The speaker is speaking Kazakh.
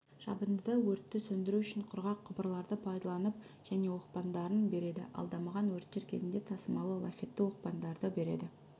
жабындыда өртті сөндіру үшін құрғақ құбырларды пайдаланып және оқпандарын береді ал дамыған өрттер кезінде тасымалы лафетті оқпандарды береді